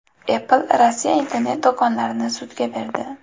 Apple Rossiya internet-do‘konlarini sudga berdi.